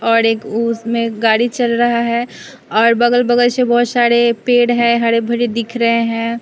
और एक उसमें गाड़ी चल रहा है और बगल-बगल से बहुत सारे पेड़ है हरे भरे दिख रहे हैं।